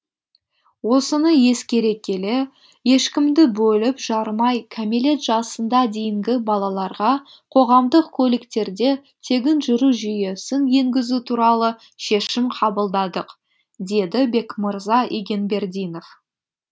осыны ескере келе ешкімді бөліп жармай кәмелет жасында дейінгі балаларға қоғамдық көліктерде тегін жүру жүйесін енгізу туралы шешім қабылдадық деді бекмырза игенбердинов